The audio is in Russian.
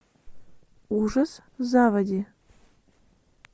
ужас в заводи